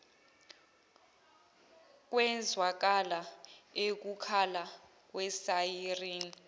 kwezwakala ukukhala kwesayirini